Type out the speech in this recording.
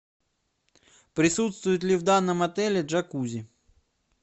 присутствует ли в данном отеле джакузи